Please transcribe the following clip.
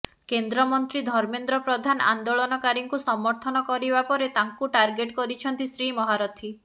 କେନ୍ଦ୍ରମନ୍ତ୍ରୀ ଧର୍ମେନ୍ଦ୍ର ପ୍ରଧାନ ଆନ୍ଦୋଳନକାରୀଙ୍କୁ ସମର୍ଥନ କରିବା ପରେ ତାଙ୍କୁ ଟାର୍ଗେଟ କରିଛନ୍ତି ଶ୍ରୀ ମହାରଥୀ